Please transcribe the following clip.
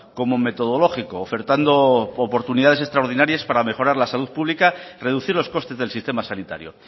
como metodológico ofertando oportunidades extraordinarias para mejorar la salud pública reducir los costes del sistema sanitario